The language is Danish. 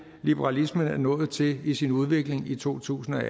liberalismen er nået til i sin udvikling i totusinde